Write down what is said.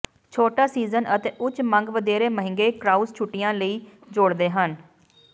ਛੋਟਾ ਸੀਜ਼ਨ ਅਤੇ ਉੱਚ ਮੰਗ ਵਧੇਰੇ ਮਹਿੰਗੇ ਕ੍ਰਾਉਜ਼ ਛੁੱਟੀਆਂ ਲਈ ਜੋੜਦੇ ਹਨ